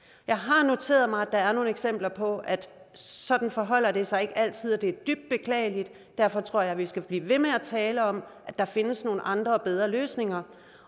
jeg har noteret mig at der er nogle eksempler på at sådan forholder det sig ikke altid og det er dybt beklageligt derfor tror jeg vi skal blive ved med at tale om at der findes nogle andre og bedre løsninger